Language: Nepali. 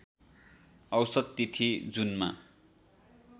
औसत तिथि जुनमा